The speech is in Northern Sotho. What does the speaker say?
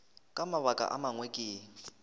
ka mabaka a mangwe ke